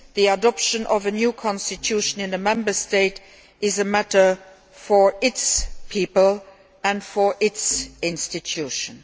The adoption of a new constitution in a Member State is a matter for its people and for its institutions.